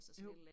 Jo